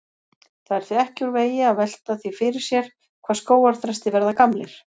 Það er því ekki úr vegi að velta því fyrir sér hvað skógarþrestir verða gamlir.